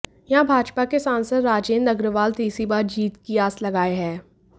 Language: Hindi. यहां भाजपा के सांसद राजेंद्र अग्रवाल तीसरी बार जीत की आस लगाए हैं